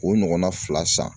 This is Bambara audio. O ɲɔgɔnna fila san